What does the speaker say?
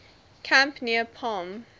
camp near palm